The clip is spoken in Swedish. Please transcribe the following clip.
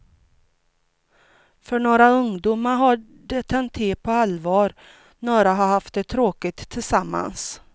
För några ungdomar har det tänt till på allvar, några har haft det tråkigt tillsammans.